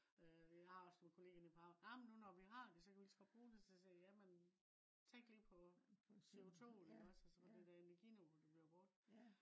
øh jeg har også en collega inde i power amen nu når vi har det kan vi ligeså godt bruge det. Så siger jeg ja men tænk lige på CO2 iggås altså det der energiniveau der bliver brugt